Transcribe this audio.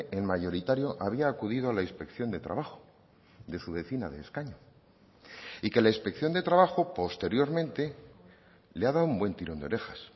el mayoritario había acudido a la inspección de trabajo de su vecina de escaño y que la inspección de trabajo posteriormente le ha dado un buen tirón de orejas